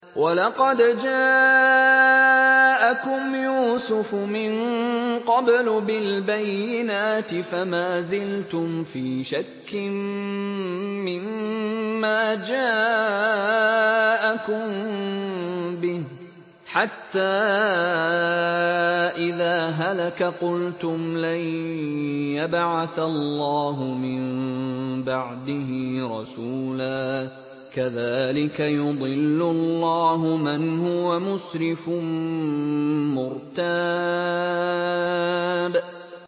وَلَقَدْ جَاءَكُمْ يُوسُفُ مِن قَبْلُ بِالْبَيِّنَاتِ فَمَا زِلْتُمْ فِي شَكٍّ مِّمَّا جَاءَكُم بِهِ ۖ حَتَّىٰ إِذَا هَلَكَ قُلْتُمْ لَن يَبْعَثَ اللَّهُ مِن بَعْدِهِ رَسُولًا ۚ كَذَٰلِكَ يُضِلُّ اللَّهُ مَنْ هُوَ مُسْرِفٌ مُّرْتَابٌ